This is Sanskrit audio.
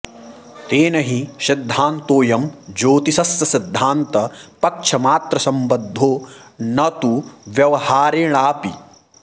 तेन हि सिद्धान्तोऽयं ज्योतिषस्य सिद्धान्तपक्षमात्रसम्बद्धो न तु व्यवहारेणाऽपि